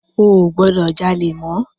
O ò gbọdọ̀ jalè mọ́.